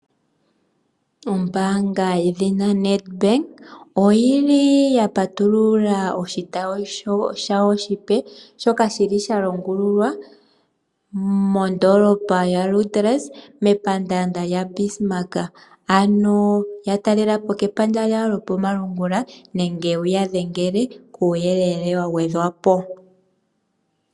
Ombaanga yedhina Nedbank oya patulula oshotayi oshipe, shalongululwa mondoolopa ya Luderitz, mepaandanda lyaBismarck. Ya talelapo kepandja lyawo lyokomalungula nenge wu ya dhengele kuuyelele wa gwedhwa po.